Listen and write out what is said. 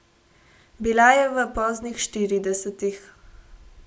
Bila je v poznih štiridesetih ...